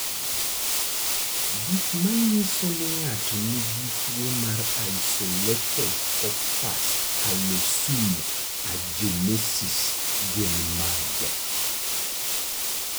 Gik manyiso ni ng'ato nigi tuwo mar Isolated corpus callosum agenesis gin mage?